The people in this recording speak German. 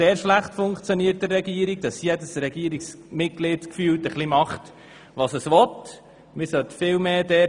Wir stellen fest, dass diese in der Regierung sehr schlecht funktioniert.